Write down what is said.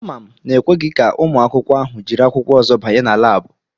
Ama m na ekweghi ka ụmụ akwụkwọ ahụ jiri akwụkwọ ozo banye na Láábu